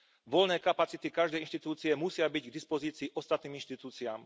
Voľné kapacity každej inštitúcie musia byť k dispozícii ostatným inštitúciám.